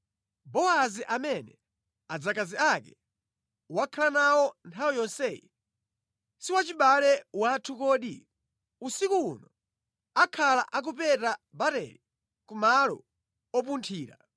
Bowazi amene adzakazi ake wakhala nawo nthawi yonseyi, si wachibale wathu kodi? Usiku uno akhala akupeta barele ku malo opunthira.